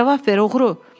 Cavab ver, oğru.